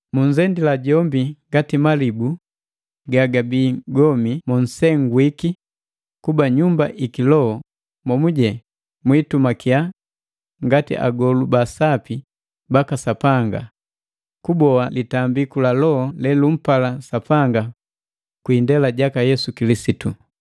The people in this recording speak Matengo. Munzendila jombi ngati malibu gagabii gomi mo nsengwiki kuba nnyumba iki loho momuje mwiitumakia ngati agolu ba sapi baka Sapanga, kuboa litambiku la loho lelumpala Sapanga kwi indela jaka Yesu Kilisitu.